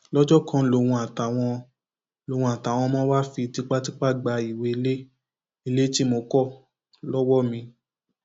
lọjọ kan lòun àtàwọn lòun àtàwọn ọmọ wàá fi tipátipá gba ìwé ilé ilé tí mo kọ lọwọ mi